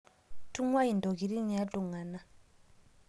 Tungai ntokitin ee ltungana